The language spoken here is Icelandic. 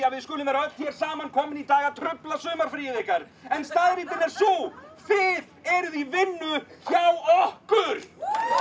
að við skulum vera öll hér saman komin í dag til að trufla sumarfríið ykkar en staðreyndin er sú þið eruð í vinnu hjá okkur